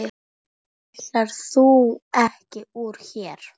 Ætlaðir þú ekki úr hér?